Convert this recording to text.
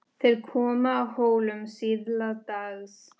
Þeir komu að Hólum síðla dags.